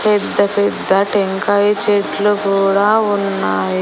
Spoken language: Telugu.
పెద్ద పెద్ద టెంకాయ చెట్లు కూడా ఉన్నాయ్--